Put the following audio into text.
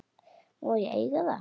Má ég eiga það?